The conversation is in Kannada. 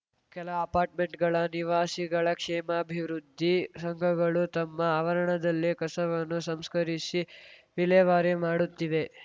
ಕೆಲ ಅಪಾರ್ಟ್‌ಮೆಂಟ್‌ಗಳ ನಿವಾಸಿಗಳ ಕ್ಷೇಮಾಭಿವೃದ್ಧಿ ಸಂಘಗಳು ತಮ್ಮ ಆವರಣದಲ್ಲೇ ಕಸವನ್ನು ಸಂಸ್ಕರಿಸಿ ವಿಲೇವಾರಿ ಮಾಡುತ್ತಿವೆ